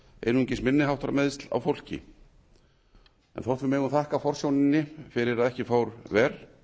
einungis minniháttar meiðsl á fólki þótt við megum þakka forsjóninni fyrir að ekki fór verr í dag er